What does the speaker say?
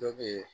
Dɔ be yen